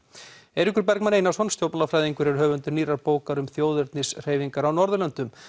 Eiríkur Bergmann Einarsson stjórnmálafræðingur er höfundur nýrrar bókar um þjóðernishreyfingar á Norðurlöndum